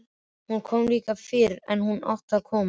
Hún kom líka fyrr en hún átti að koma.